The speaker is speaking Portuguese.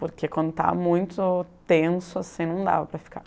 Porque quando estava muito tenso assim, não dava para ficar.